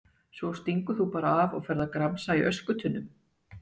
Svo stingur þú bara af og ferð að gramsa í öskutunnum!